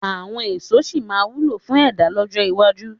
Àwọn èso sì máa wúlò fún ẹ̀dá lọ́jọ́ iwájú.